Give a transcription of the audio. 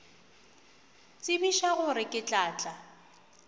tsebiša gore ke tla tla